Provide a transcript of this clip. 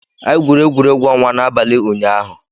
Anyị gwuru egwuregwu ọnwa n'abalị ụnyaahụ